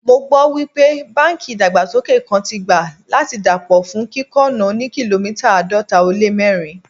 Mo gbọ́ wípé báńkì ìdàgbàsókè kan tí gbà láti dà pọ̀ fún kíkọ́ ọ̀nà òní kìlómítà àádọ́ta ó lé mẹ́rin.